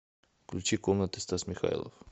включи комнаты стас михайлов